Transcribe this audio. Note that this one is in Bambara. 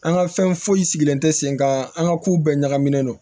An ka fɛn foyi sigilen tɛ sen kan an ka kow bɛɛ ɲagaminen don